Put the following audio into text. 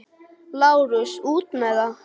LÁRUS: Út með það!